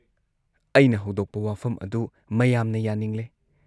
ꯑꯩꯅ ꯍꯧꯗꯣꯛꯄ ꯋꯥꯐꯝ ꯑꯗꯨ ꯃꯌꯥꯝꯅ ꯌꯥꯅꯤꯡꯂꯦ ꯫